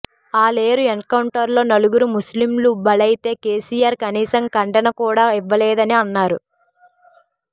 ఆలేరు ఎన్కౌంటర్లో నలుగురు ముస్ల్లింలు బలైతే కేసీఆర్ కనీసం ఖండన కూడా ఇవ్వలేదని అన్నారు